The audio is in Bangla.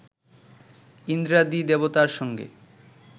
ইন্দ্রাদি দেবতার সঙ্গে